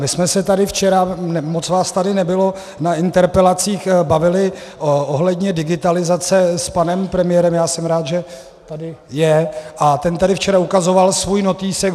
My jsme se tady včera, moc vás tady nebylo, na interpelacích bavili ohledně digitalizace s panem premiérem, já jsem rád, že tady je, a ten tady včera ukazoval svůj notýsek.